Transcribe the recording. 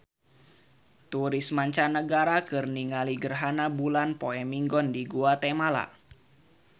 Turis mancanagara keur ningali gerhana bulan poe Minggon di Guatemala